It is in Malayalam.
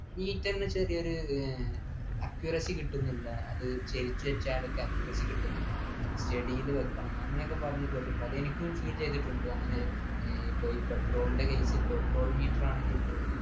meter ന് ചെറിയൊരു ഏർ accuracy കിട്ടുന്നില്ല അത് ചരിച്ചുവച്ചാലൊക്കെ accuracy കിട്ടുന്നില്ല steady യിൽ വെക്കണം അങ്ങനെയൊക്കെ പറഞ്ഞു കേട്ടിട്ടുണ്ട് അത് എനിക്കും feel ചെയ്തിട്ടുണ്ട് അങ്ങനെ ഈ ഇപ്പൊ ഈ petrol ൻ്റെ case ൽ petrol meter ആണെങ്കിൽ പോലും